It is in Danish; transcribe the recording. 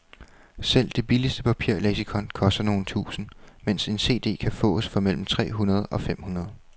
Selv det billigste papirleksikon koster nogle tusinde, mens en cd kan fås for mellem tre hundrede og fem hundrede.